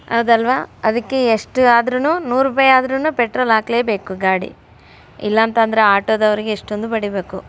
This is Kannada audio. ಹೌದಲ್ವಾ ಅದಕ್ಕೆ ಎಸ್ಟ್ ಆದ್ರೂನು ನೂರ್ ರೂಪಾಯಿ ಆದ್ರೂನು ಪೆಟ್ರೋಲ್ ಹಾಕ್ಲೇಬೇಕು ಗಾಡಿ. ಇಲ್ಲಾಂತಂದ್ರೆ ಆಟೋ ದವರಿಗೆ ಎಷ್ಟೊಂದು ಬಡೀಬೇಕು.